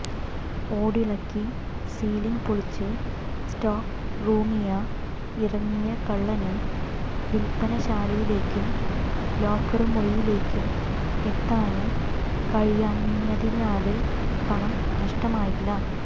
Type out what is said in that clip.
ഓടിളക്കി ceiling പൊളിച്ച് stock റൂമിയ ഇറങ്ങിയ കളളന് വില്പന ശാലയിലേക്കും ലോക്കര് മുറിയിലേക്കും എത്താന് കഴിയാഞ്ഞതിനാല് പണം നഷ്ടമായില്ല